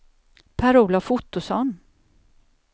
Per-Olof Ottosson